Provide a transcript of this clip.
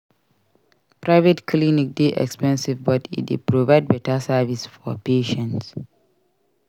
Private clinic dey expensive but e dey provide beta service for patients.